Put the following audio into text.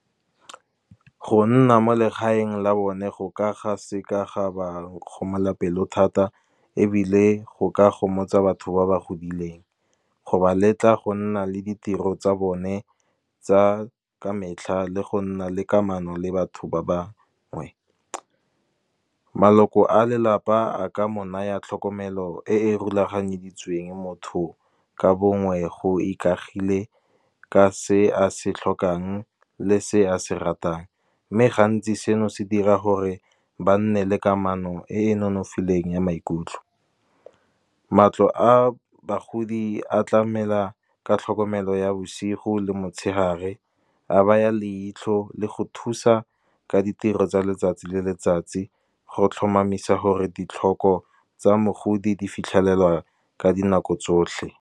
Go nna mo legaeng la bone go ka ga seka ga ba kgomola pelo thata, ebile go ka gomotsa batho ba ba godileng. Go ba letla go nna le ditiro tsa bone, tsa ka metlha le go nna le kamano le batho ba ba ngwe. Maloko a lelapa a ka mo naya tlhokomelo e e rulaganyeditsweng motho ka bongwe, go ikagile ka se a se tlhokang le se a se ratang. Mme gantsi seno se dira gore ba nne le kamano e e nonofileng ya maikutlo. Matlo a bagodi a tlamela ka tlhokomelo ya bosigo le motshegare, a baya leitlho le go thusa ka ditiro tsa letsatsi le letsatsi, go tlhomamisa gore ditlhoko tsa mogodi di fitlhelelwa ka dinako tsotlhe.